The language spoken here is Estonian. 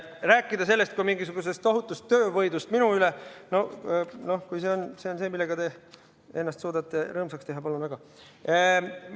Rääkida sellest kui mingisugusest tohutust töövõidust minu üle – noh, kui see on see, millega te ennast suudate rõõmsaks teha, siis palun väga!